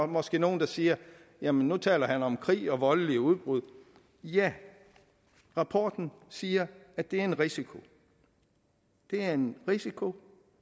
måske nogle der siger jamen nu taler han om krig og voldelige udbrud ja rapporten siger at det er en risiko det er en risiko